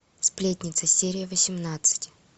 сплетница серия восемнадцать